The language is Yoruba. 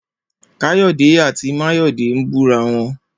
Kayode àtí Mayode n bú ráwọn